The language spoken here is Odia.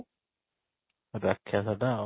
ରାକ୍ଷାସ ତା ଆଉ